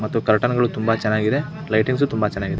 ಮತ್ತು ಕರ್ಟನ್ ಗಳು ತುಂಬಾ ಚನ್ನಾಗಿದೆ ಲೈಟಿಂಗ್ಸ್ ತುಂಬಾ ಚನ್ನಾಗಿದೆ .